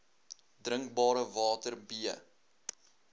drinkbare water b